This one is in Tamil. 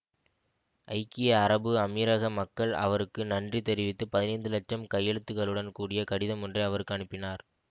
ஐக்கிய அரபு அமீரக மக்கள் அவருக்கு நன்றி தெரிவித்து பதினைந்து இலட்சம் கையெழுத்துக்களுடன் கூடிய கடிதம் ஒன்றை அவருக்கு அனுப்பினார்